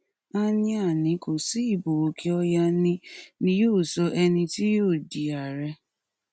áníánì kò sí ibo òkè ọyà ni ni yóò sọ ẹni tí yóò di ààrẹ